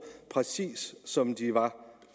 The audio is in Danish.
præcis de som de var